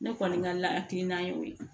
Ne kɔni ka lakilinan y'o ye